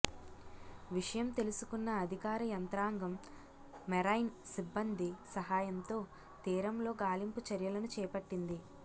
విషయం తెలుసుకున్న అధికార యంత్రాంగం మెరైన్ సిబ్బంది సహాయంతో తీరంలో గాలింపు చర్యలను చేపట్టింది